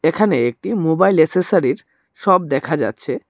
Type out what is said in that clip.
এখানে একটি মোবাইল এসেসারির শপ দেখা যাচ্ছে।